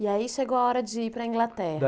E aí chegou a hora de ir para a Inglaterra.